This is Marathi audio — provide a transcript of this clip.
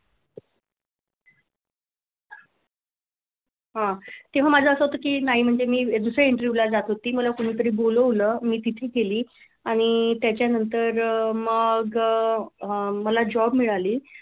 हा तेव्हा माझं असं होतं की नाही म्हणजे मी दुसरा interview ला जात होती मला कोणीतरी बोलवलं मी तिथे गेली आणि त्याच्यानंतर अह मग मला job मिळाली.